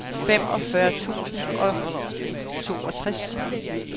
femogfyrre tusind og toogtres